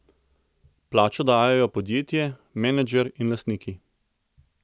Plačo dajejo podjetje, menedžer in lastniki.